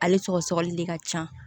Ale sɔgɔ sɔgɔli de ka ca